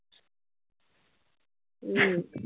हम्म